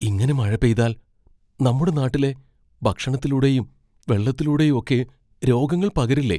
ഇങ്ങനെ മഴ പെയ്താൽ നമ്മുടെ നാട്ടിലെ ഭക്ഷണത്തിലൂടെയും വെള്ളത്തിലൂടെയും ഒക്കെ രോഗങ്ങൾ പകരില്ലേ?